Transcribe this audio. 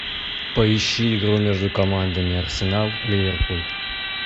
поищи игру между командами арсенал ливерпуль